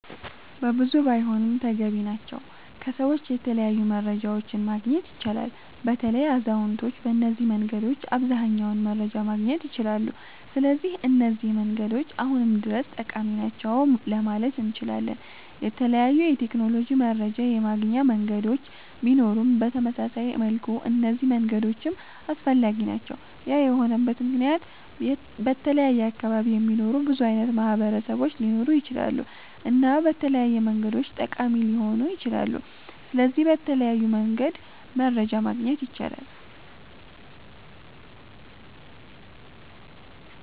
በብዙ ባይሆንም ተገቢ ናቸዉ ከሰዎች የተለያዩ መረጃዎችን ማግኘት ይቻላል። በተለይ አዛዉነቶች በነዚህ መንገዶች አብዘሃኛዉን መረጃ ማግኘት ይችላሉ ስለዚህ እነዚህ መንገዶች አሁንም ድረስ ጠቃሚ ናቸዉ ለማለት እነችላለን። የተለያዩ የቴክኖሎጂ መረጃ የማገኛ መንገዶች ቢኖሩም በተመሳሳይ መልኩ እነዚህ መንገዶችም አስፈላጊ ናቸዉ ያ የሆነበት መክንያት በተለያየ አካባቢ የሚኖሩ ብዙ አይነት ማህበረሰቦች ሊኖሩ ይችላሉ እና በተለያዩ መንገዶች ጠቃሚ ሊሆኑ ይችላሉ። ስለዚህ በተለያዩ መንገድ መረጃ ማግኘት ይቻላል